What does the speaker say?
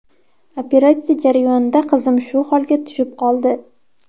Operatsiya jarayonida qizim shu holga tushib qoldi.